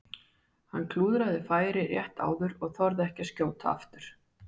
Hann klúðraði færi rétt áður og þorði ekki að skjóta aftur.